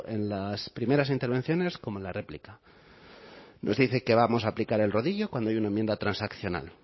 en las primeras intervenciones como en la réplica nos dice que vamos a aplicar el rodillo cuando hay una enmienda transaccional